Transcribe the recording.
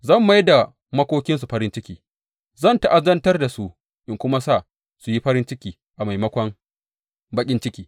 Zan mai da makokinsu farin ciki; zan ta’azantar da su in kuma sa su yi farin ciki a maimakon baƙin ciki.